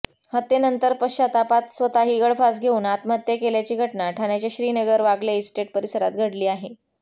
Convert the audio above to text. हत्येनंतर पश्चातापात स्वतःही गळफास घेऊन आत्महत्या केल्याची घटना ठाण्याच्या श्रीनगर वागले इस्टेट परिसरात घडली आहे